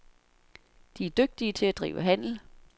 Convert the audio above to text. De er dygtige til at drive handel.